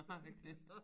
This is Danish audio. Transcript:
Har han ikke det